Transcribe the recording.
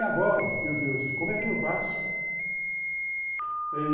E agora, meu Deus, como é que eu faço?